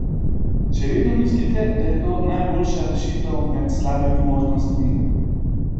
Še vedno mislite, da je to najboljša rešitev med slabimi možnostmi?